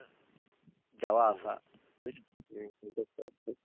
যাওয়া আসা বুঝেছো